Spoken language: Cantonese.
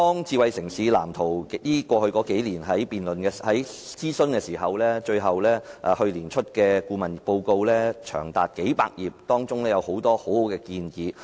智慧城市藍圖經過數年的諮詢，最後於去年公布長達數百頁的顧問報告，當中有很多很好的建議。